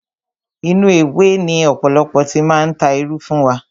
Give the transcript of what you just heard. Inú ewé ni ọ̀pọ̀lọpọ̀ ti máa ń ta irú fún wa.